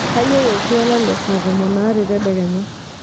kaiyieu oltwala le saa tomon aare tadekenya